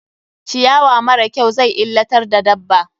Ciyawa mara kyau zai illatar da dabba.